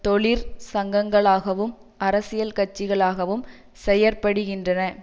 தொழிற் சங்கங்களாகவும் அரசியல் கட்சிகளாகவும் செயற்படுகின்றன